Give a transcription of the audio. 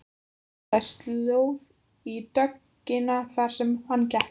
Það myndaðist slóð í dögg- ina þar sem hann gekk.